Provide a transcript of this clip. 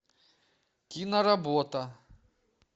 киноработа